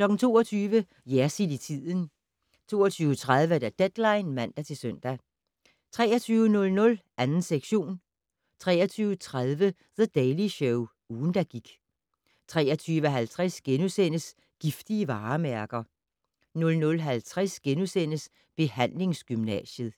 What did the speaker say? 22:00: Jersild i tiden 22:30: Deadline (man-søn) 23:00: 2. sektion 23:30: The Daily Show - ugen, der gik 23:50: Giftige varemærker * 00:50: Behandlingsgymnasiet *